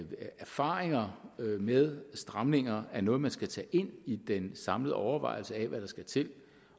erfaringer med stramninger er noget man skal tage ind i den samlede overvejelse af hvad der skal til